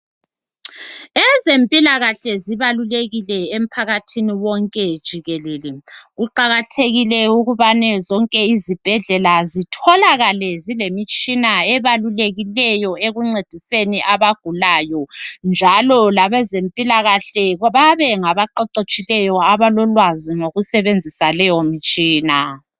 Ezempilakahle zibalulekile emphakathini wonke jikelele kuqakathekile ukubani zonke izibhedlela zitholakale zilemtshina ebabulekileyo encediseni abagulayo njalo labezempilakahle babe ngabaqeqetshileyo abalolwazi ngokusebenzisa lowo mtshina.